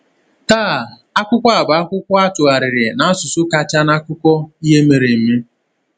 Taa, akwụkwọ a bụ akwụkwọ a tụgharịrị n’asụsụ kacha n’akụkọ ihe mere eme.